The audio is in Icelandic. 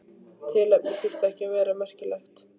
Tilefnið þurfti ekki að vera merkilegt.